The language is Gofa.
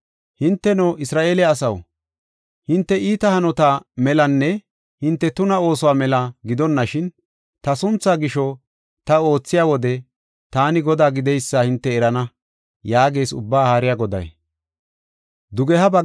Hinteno, Isra7eele asaw, hinte iita hanota melanne hinte tuna oosuwa mela gidonashin, ta sunthaa gisho ta oothiya wode taani Godaa gideysa hinte erana” yaagees Ubbaa Haariya Goday.